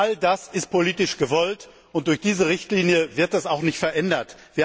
All das ist politisch gewollt, und durch diese Richtlinie wird es auch nicht verändert.